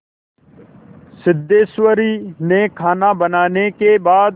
सिद्धेश्वरी ने खाना बनाने के बाद